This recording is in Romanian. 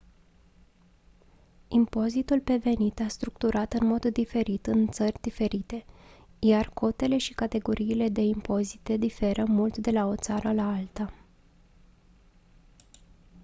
impozitul pe venit e structurat în mod diferit în țări diferite iar cotele și categoriile de impozitare diferă mult de la o țară la alta